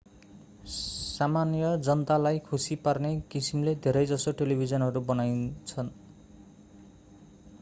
सामान्य जनतालाई खुशी पार्ने किसिमले धेरै जसो टेलिभिजनहरू बनाइन्छन्